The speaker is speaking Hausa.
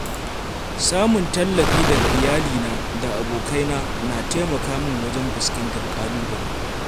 Samun tallafi daga iyalina da abokaina na taimaka min wajen fuskantar ƙalubale.